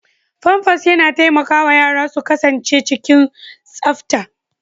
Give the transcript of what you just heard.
Famfas yana taimakawa yara su kasance cikin tsafta.